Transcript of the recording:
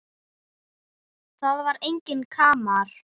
Það var enginn kamar.